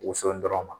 Woson dɔrɔn ma